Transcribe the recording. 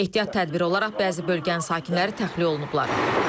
Ehtiyat tədbiri olaraq bəzi bölgənin sakinləri təxliyə olunublar.